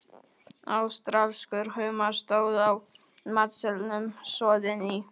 Ástralskur humar, stóð á matseðlinum, soðinn í